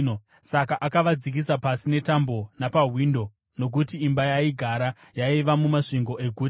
Saka akavadzikisa pasi netambo napawindo, nokuti imba yaaigara yaiva mumasvingo eguta.